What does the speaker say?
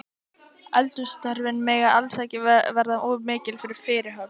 Eldhússtörfin mega alls ekki verða of mikil fyrirhöfn.